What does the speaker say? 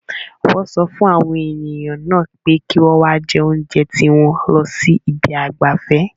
Wọ́n sọ fún àwọn ènìyàn náà pé kí wọ́n wá jẹ oúnjẹ tiwọn lọ sí ibi ìgbafẹ́.